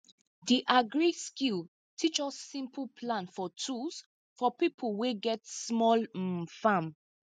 the agriskill teach us simple plan for tools for people wey get small um farm